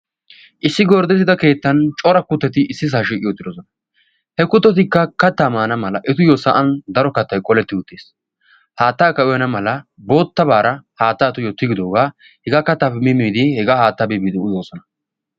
issi gorddettida keettan cora kutteti issi saa shiiqi uttidosona. he kutotikka kattaa maana mala etuyyo sa'an daro kattay qoletti uttiis. haattaakka uyana mala boottabaara haatta etuyyo tigidoogaa hegaa kattaappi mimmidi hegaa haattaa biibiidi uyoosona